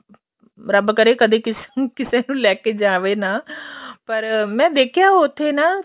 ਰੱਬ ਕਰੇ ਕਦੇ ਕਿਸੇ ਨੂੰ ਕਿਸੇ ਨੂੰ ਲੈਕੇ ਜਾਵੇ ਨਾ ਪਰ ਮੈਂ ਦੇਖਿਆ ਏ ਉੱਥੇ ਨਾ